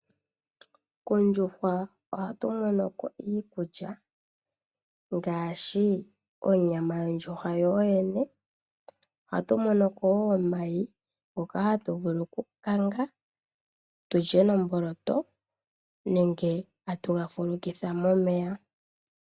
Kondjuhwa ohatu mono ko iikulya ngaashi onyama yondjuhwa yoyene, ohatu mono ko wo omayi ngoka hatu vulu oku kanga tulye nomboloto nenge atuga fulukitha momeya.